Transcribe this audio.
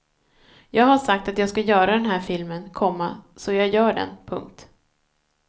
Jag har sagt att jag ska göra den här filmen, komma så jag gör den. punkt